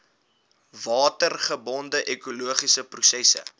watergebonde ekologiese prosesse